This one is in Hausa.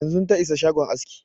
Yanzun ta isa shagon askin